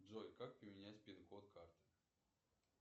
джой как поменять пинкод карты